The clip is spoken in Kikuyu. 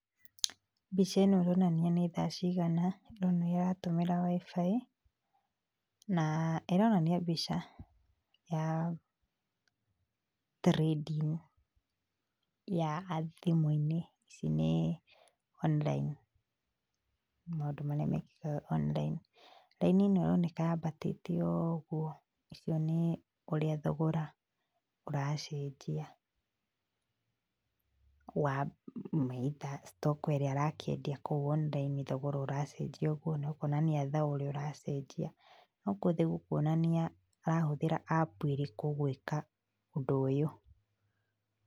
Mbica ĩno ĩronania nĩ thaa cigana, ndĩrona ĩratũmĩra wi-fi na ĩronania mbica ya trading ya thimũ-inĩ, ici nĩ online, maũndũ marĩa mekĩkaga online. Raini ĩno ĩroneka yambatĩte ũguo ũcio nĩ ũrĩa thogora ũracenjia wa stock ĩrĩa arakĩendia kũu online, thogora ũracenjia ũguo, nĩ ũkuona thogora ũrĩa ũracenjia, no gwothe gũkuonania arahũthĩra app ĩrĩkũ gũĩka ũndũ ũyũ.